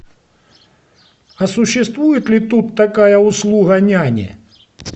а существует ли тут такая услуга няни